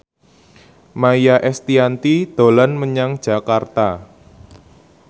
Maia Estianty dolan menyang Jakarta